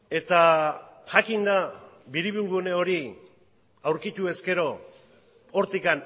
eta jakinda biribilgune hori aurkituz gero hortik